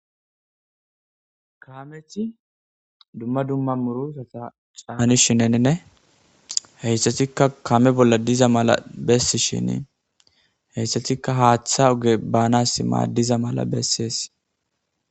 Kaame dumma dumma murusata caani shinene heyssatikka kame bolla diza mala bessi shinii heyssatikka haaththa oge baanas maaddiza mala bessees.